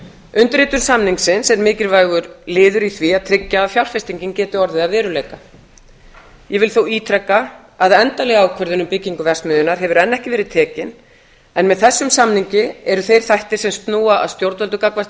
undirritun samningsins er mikilvægur liður í því að tryggja að fjárfestingin geti orðið að veruleika ég vil þó ítreka að endanleg ákvörðun um byggingu verksmiðjunnar hefur enn ekki verið tekin en með þessum samningi eru þeir þættir sem snúa að stjórnvöldum gagnvart